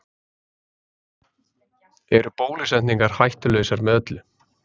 Eru bólusetningar hættulausar með öllu?